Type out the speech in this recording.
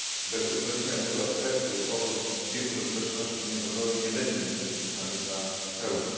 Bez uwzględnienia tego aspektu powrót Birmy do społeczności międzynarodowej nie będzie mógł być uznany za pełny.